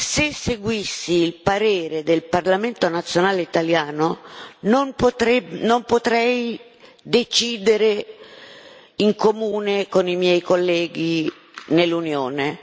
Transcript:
Se seguissi il parere del Parlamento nazionale italiano non potrei decidere in comune con i miei colleghi dell'Unione.